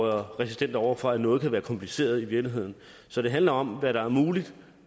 resistente over for at noget kan være kompliceret i virkeligheden så det handler om hvad der er muligt